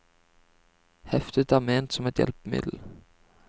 Heftet er ment som et hjelpemiddel.